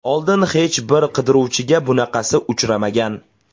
Oldin hech bir qidiruvchiga bunaqasi uchramagan.